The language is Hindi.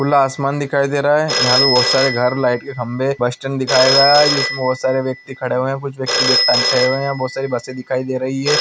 खुला आसमान दिखाई दे रहा है। यहाँ पर बहुत सारे घर लाइट के खम्बे बस स्टैंड दिखाया गया है। इसमें बहुत सारे ब्यक्ति खड़े हुए है। कुछ ब्यक्ति बेग तांग के खड़े हुए है। बहुत सारी बसे दिखाई दे रही है।